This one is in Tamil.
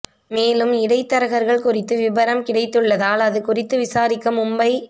மேலும் இடைத்தரகர்கள் குறித்து விபரம் கிடைத்துள்ளதால் அது குறித்து விசாரிக்க மும்பை